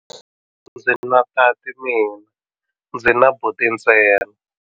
A ndzi na tati mina, ndzi na buti ntsena.